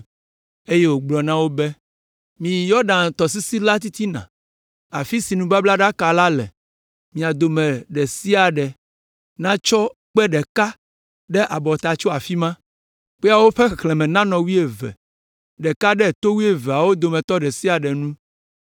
eye wògblɔ na wo be, “Miyi Yɔdan tɔsisi la titina, afi si nubablaɖaka la le; mia dometɔ ɖe sia ɖe natsɔ kpe ɖeka ɖe abɔta tso afi ma. Kpeawo ƒe xexlẽme nanɔ wuieve, ɖeka ɖe to wuieveawo dometɔ ɖe sia ɖe nu.